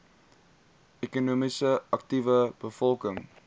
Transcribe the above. ekonomies aktiewe bevolking